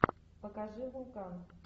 покажи вулкан